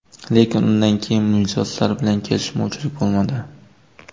Lekin undan keyin mijozlar bilan kelishmovchilik bo‘lmadi.